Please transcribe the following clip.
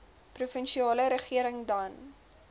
provinsiale regering dan